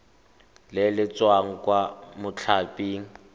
le le tswang kwa mothaping